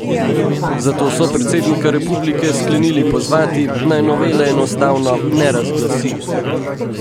Zato so predsednika republike sklenili pozvati, naj novele enostavno ne razglasi.